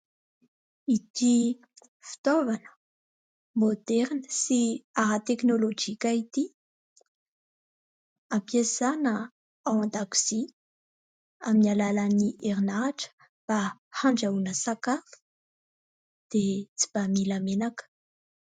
Ity Fitaovana môderina sy ara teknôlôjika ity ampiasana ao an-dakozia amin'ny alalan'ny herinaratra mba andrahoana sakafo dia tsy mba mila menaka.